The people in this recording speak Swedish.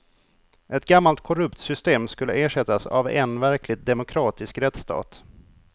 Ett gammalt korrupt system skulle ersättas av en verkligt demokratisk rättsstat.